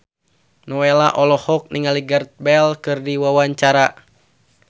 Nowela olohok ningali Gareth Bale keur diwawancara